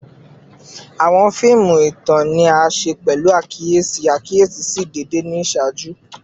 Awọn fiimu itan ni a ṣe pẹlu akiyesi akiyesi si deede ni iṣaaju